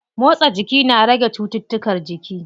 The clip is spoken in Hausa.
Motsa jiki na rage cuttutukan jiki.